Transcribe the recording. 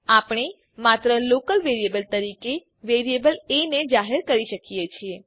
આપણે માત્ર local variable તરીકે વેરીએબલ એ ને જાહેર કરી શકીએ છીએ